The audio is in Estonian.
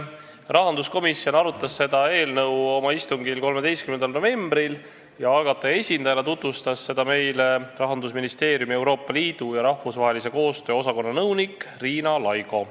Rahanduskomisjon arutas seda eelnõu oma 13. novembri istungil ja algataja esindajana tutvustas seda meile Rahandusministeeriumi Euroopa Liidu ja rahvusvahelise koostöö osakonna nõunik Riina Laigo.